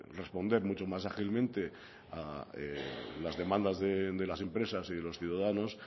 responder mucho más ágilmente a las demandas de las empresas y de los ciudadanos